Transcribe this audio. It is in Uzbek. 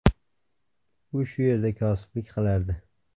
U shu yerda kosiblik qilardi.